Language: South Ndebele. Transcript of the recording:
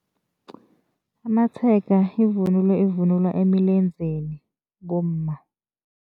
Amatshega yivunulo evunulwa emilenzeni bomma.